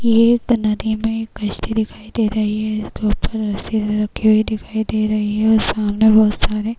ये एक नदी में कश्ती दिखाई दे रही है जो उपर रस्सी दिखाई दे रही है और सामने बहोत सारे --